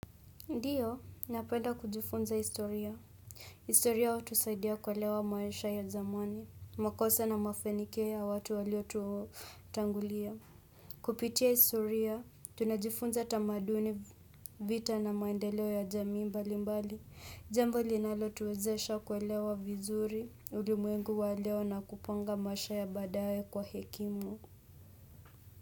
Ndio, napenda kujifunza historia. Historia hutusaidia kuelewa maisha ya zamani, makosa na mafanikio ya watu waliotutangulia. Kupitia historia, tunajifunza tamaduni vita na maendeleo ya jamii mbali mbali. Jambo linalo tuwezesha kuelewa vizuri, ulimwengu wa leo na kupanga maisha ya badaye kwa hekimu.